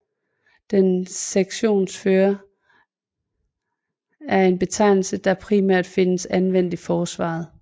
En sektionsfører er en betegnelse der primært findes anvendt i Forsvaret